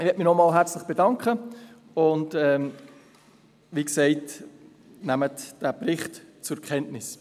Ich möchte mich noch einmal herzlich bedanken, und wie gesagt: Nehmen Sie den Bericht zur Kenntnis.